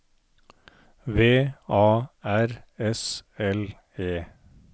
V A R S L E